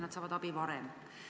Nad saavad abi varem.